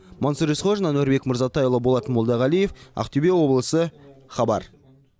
мансұр есқожин әнуарбек мырзатайұлы болат молдағалиев ақтөбе облысы хабар